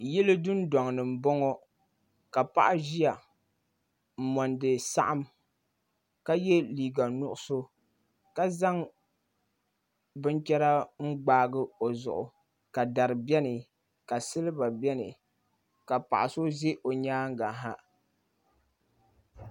Yili dundoŋni m boŋɔ ka paɣa ʒia m mondi saɣim ka ye liiga nuɣuso ka zaŋ binchera n gbaagi o zuɣu ka dari biɛni ka siliba biɛni ka paɣa so ʒi o nyaanga ha.